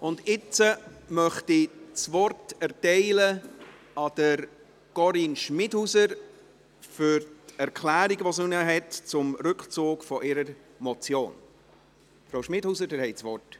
Nun möchte ich Corinne Schmidhauser das Wort für ihre Erklärung zum Rückzug ihrer Motion erteilen.